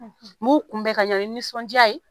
Mu kunbɛ ka ɲɛ ni nisɔndiya ye